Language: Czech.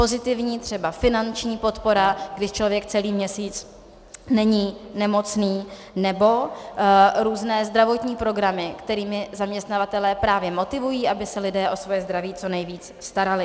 Pozitivní třeba finanční podpora, když člověk celý měsíc není nemocný, nebo různé zdravotní programy, kterými zaměstnavatelé právě motivují, aby se lidé o svoje zdraví co nejvíc starali.